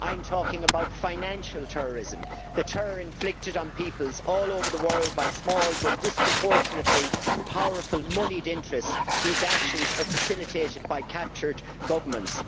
I am talking about financial terrorism, the terror inflicted on peoples all over the world by small, but disproportionately powerful, moneyed interests whose actions are facilitated by captured governments.